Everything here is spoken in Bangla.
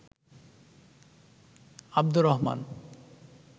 আব্দুর রহমান